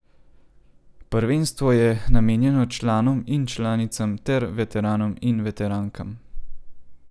Prvenstvo je namenjeno članom in članicam, ter veteranom in veterankam.